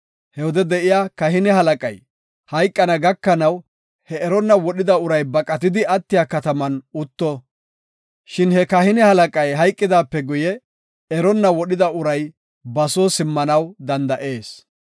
He wode de7iya kahine halaqay hayqana gakanaw he eronna wodhida uray baqatidi attiya kataman utto. Shin he kahine halaqay hayqidaape guye eronna wodhida uray ba soo simmanaw danda7ees.